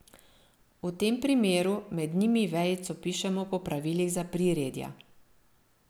V tem primeru med njimi vejico pišemo po pravilih za priredja.